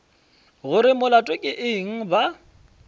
gore molato ke eng ba